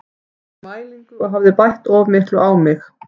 Ég fór í mælingu og hafði bætt of miklu á mig.